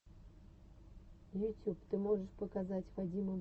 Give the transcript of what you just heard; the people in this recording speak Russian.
ютюб ты можешь показать вадима бабешкина